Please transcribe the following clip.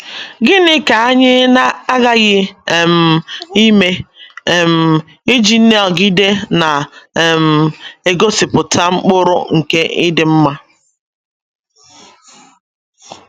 Gịnị ka anyị na - aghaghị um ime um iji nọgide na - um egosipụta mkpụrụ nke ịdị mma?